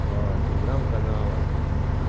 по телеграмм каналам